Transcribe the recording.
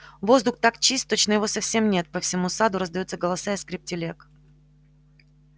воздух так чист точно его совсем нет по всему саду раздаются голоса и скрип телег